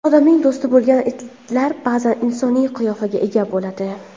Odamning do‘sti bo‘lgan itlar ba’zan insoniy qiyofaga ega bo‘ladi.